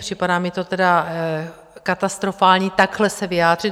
Připadá mi to tedy katastrofální takhle se vyjádřit.